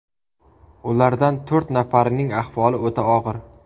Ulardan to‘rt nafarining ahvoli o‘ta og‘ir.